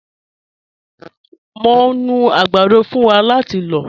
Mọ̀ ń nú agbàdọ̀ fún wá láti lọ̀.